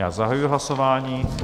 Já zahajuji hlasování.